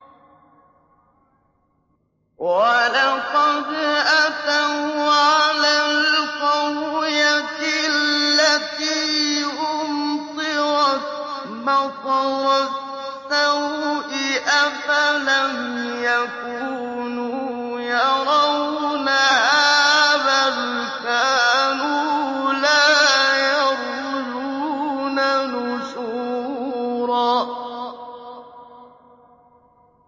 وَلَقَدْ أَتَوْا عَلَى الْقَرْيَةِ الَّتِي أُمْطِرَتْ مَطَرَ السَّوْءِ ۚ أَفَلَمْ يَكُونُوا يَرَوْنَهَا ۚ بَلْ كَانُوا لَا يَرْجُونَ نُشُورًا